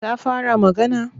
Ta fara magana?